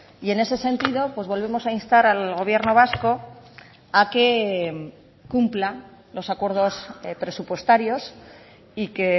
y en ese sentido pues volvemos a instar al gobierno vasco a que cumpla los acuerdos presupuestarios y que